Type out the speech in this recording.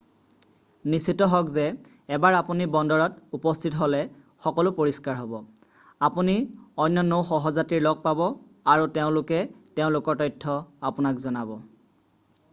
নিশ্চিত হওক যে এবাৰ আপুনি বন্দৰত উপস্থিত হ'লে সকলো পৰিষ্কাৰ হ'ব আপুনি অন্য নৌ সহযাত্ৰীৰ লগ পাব আৰু তেওঁলোকে তেওঁলোকৰ তথ্য আপোনাক জনাব